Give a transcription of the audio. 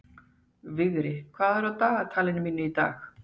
Vigri, hvað er í dagatalinu mínu í dag?